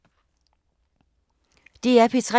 DR P3